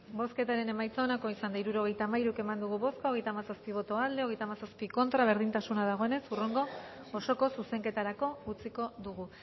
bozketaren emaitza onako izan da hirurogeita hamalau eman dugu bozka hogeita hamazazpi boto aldekoa treinta y siete contra berdintasuna dagoenez hurrengo osoko zuzenketarako utziko dugu